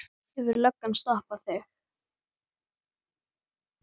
Hefur löggan stoppað þig?